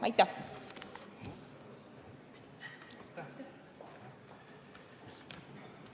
Aitäh!